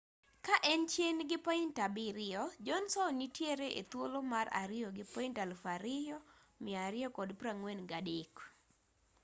ka en chien gi point abiriyo johnson nitiere e thuolo mar ariyo gi point 2,243